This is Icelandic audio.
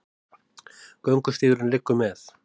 Göngustígurinn liggur með